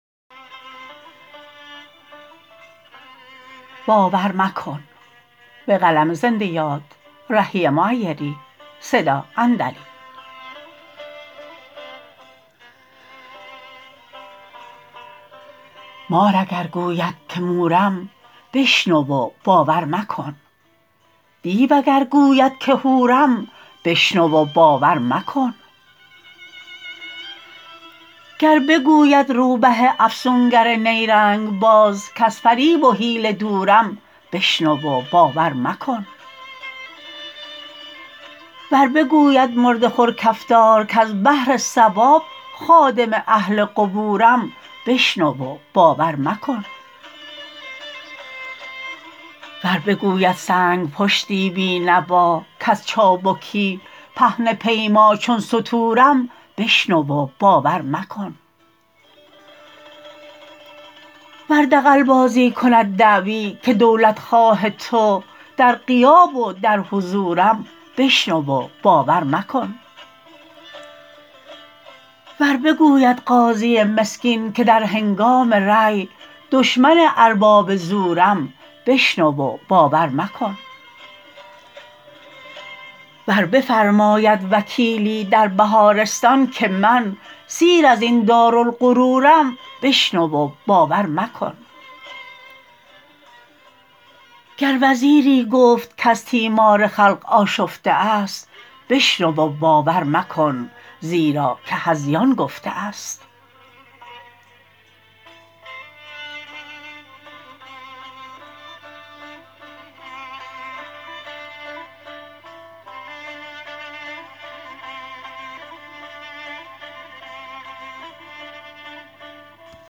مار اگر گوید که مورم بشنو و باور مکن دیو اگر گوید که حورم بشنو و باور مکن گر بگوید روبه افسونگر نیرنگ باز کز فریب و حیله دورم بشنو و باور مکن ور بگوید مرده خور کفتار کز بهر ثواب خادم اهل قبورم بشنو و باور مکن ور بگوید سنگ پشتی بی نوا کز چابکی پهنه پیما چون ستورم بشنو و باور مکن ور دغل بازی کند دعوی که دولت خواه تو در غیاب و در حضورم بشنو و باور مکن ور بگوید قاضی مسکین که در هنگام رأی دشمن ارباب زورم بشنو و باور مکن ور بفرماید وکیلی در بهارستان که من سیر از این دارالغرورم بشنو و باور مکن گر وزیری گفت کز تیمار خلق آشفته است بشنو و باور مکن زیرا که هذیان گفته است